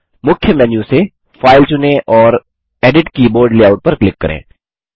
मुख्य मेन्यू से फाइल चुनें और एडिट कीबोर्ड लेआउट पर क्लिक करें